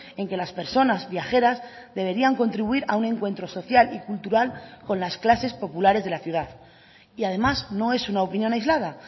en que las personas viajeras deberían contribuir a un encuentro social y cultural con las clases populares de la ciudad y además no es una opinión aislada